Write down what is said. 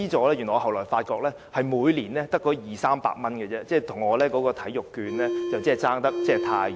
但是，我後來發現這些資助只是每年二三百元，與我提出的體育券相差甚遠。